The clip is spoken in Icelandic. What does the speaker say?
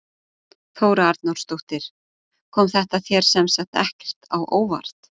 Þóra Arnórsdóttir: Kom þetta þér sem sagt ekkert á óvart?